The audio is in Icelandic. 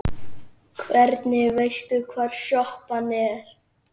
Hvernig veistu hvar sjoppan er?